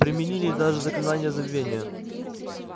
применили даже заклинание забвения